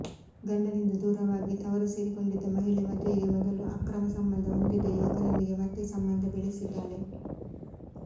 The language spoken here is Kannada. ಗಂಡನಿಂದ ದೂರವಾಗಿ ತವರು ಸೇರಿಕೊಂಡಿದ್ದ ಮಹಿಳೆ ಮದುವೆಗೆ ಮೊದಲು ಅಕ್ರಮ ಸಂಬಂಧ ಹೊಂದಿದ್ದ ಯುವಕನೊಂದಿಗೆ ಮತ್ತೆ ಸಂಬಂಧ ಬೆಳೆಸಿದ್ದಾಳೆ